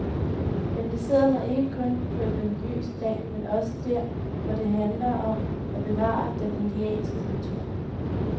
Jeg placerer mig ikke kun på et religiøst plan, men også der, hvor det handler om at bevare den indianske kultur.